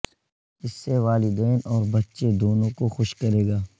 اس سے والدین اور بچے دونوں کو خوش کرے گا